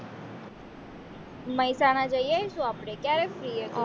મહેસાણા જયાશુ આપણે ક્યારે free હશે